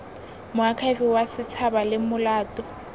moakhaefe wa setshaba ke molato